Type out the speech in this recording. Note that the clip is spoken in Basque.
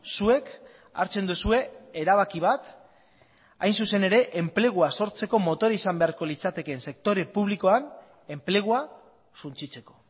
zuek hartzen duzue erabaki bat hain zuzen ere enplegua sortzeko motore izan beharko litzatekeen sektore publikoan enplegua suntsitzeko